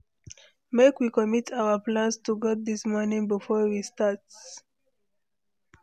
Make we commit our plans to God this morning before we start.